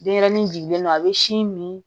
Denyɛrɛnin jigilen do a bɛ sin min